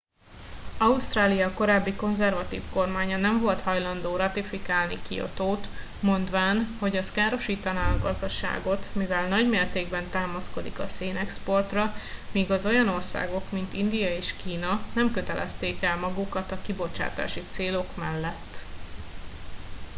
ausztrália korábbi konzervatív kormánya nem volt hajlandó ratifikálni kiotót mondván hogy az károsítaná a gazdaságot mivel nagy mértékben támaszkodik a szénexportra míg az olyan országok mint india és kína nem kötelezték el magukat a kibocsátási célok mellett